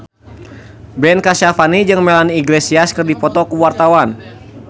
Ben Kasyafani jeung Melanie Iglesias keur dipoto ku wartawan